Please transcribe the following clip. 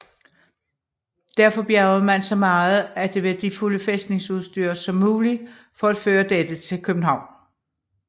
Derfor bjergede man så meget at det værdifulde fæstningsudstyr som muligt for at føre dette til København